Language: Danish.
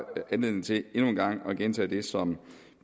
anledning til endnu en gang at gentage det som